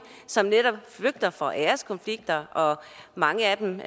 som netop flygter fra æreskonflikter og mange af dem